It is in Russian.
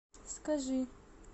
скажи